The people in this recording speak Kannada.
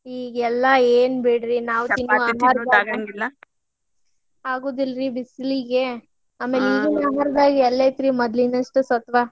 ಈಗೆಲ್ಲಾ ಏನ್ ಬಿಡ್ರಿ ನಾವ್ ಅಗುದಿಲ್ರಿ ಬಿಸಲಿಗೆ ಆಮೇಲ್ ಈಗಿನ ಆಹಾರದಾಗ್ ಎಲ್ಲತ್ರಿ ಮೊದ್ಲಿನಷ್ಟ್ ಸತ್ವಾ.